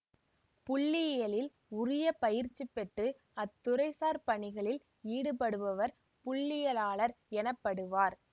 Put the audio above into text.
புள்ளியியலில் உரிய பயிற்சி பெற்று அத்துறைசார் பணிகளில் ஈடுபடுபவர் புள்ளியியலாளர் எனப்படுவார்